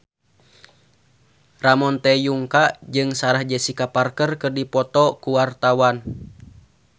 Ramon T. Yungka jeung Sarah Jessica Parker keur dipoto ku wartawan